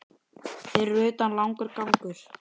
Fyrir utan langur gangur.